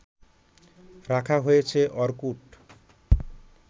রাখা হয়েছে অর্কুট